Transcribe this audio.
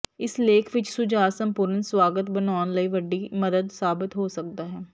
ਇਸ ਲੇਖ ਵਿਚ ਸੁਝਾਅ ਸੰਪੂਰਣ ਸਵਾਗਤ ਬਣਾਉਣ ਲਈ ਵੱਡੀ ਮਦਦ ਸਾਬਤ ਹੋ ਸਕਦਾ ਹੈ